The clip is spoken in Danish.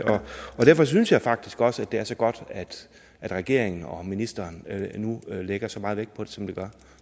og derfor synes jeg faktisk også at det er så godt at regeringen og ministeren nu lægger så meget vægt på det som de gør